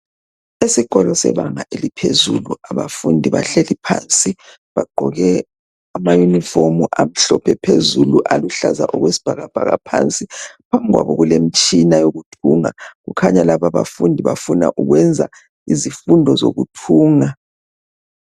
Isikolo sebanga eliphezulu abafundi bahleli phansi bagqoke ama Yunifomu amhlophe phezulu aluhlaza okwesibhakabhaka phansi. Phambikwabo kulemitshina yokuthunga kukhanya laba bafundi bafuna ukwenza izifundo zokuthunga.